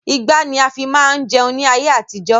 Igbá ni a fi máa ń jẹun ní ayé àtijọ́